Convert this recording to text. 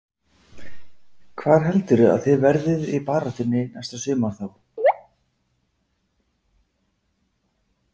Hvar heldurðu að þið verðið í baráttunni næsta sumar þá?